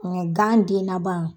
Ŋa gan den naban